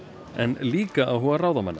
en líka áhuga ráðamanna